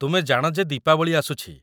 ତୁମେ ଜାଣ ଯେ ଦୀପାବଳି ଆସୁଛି !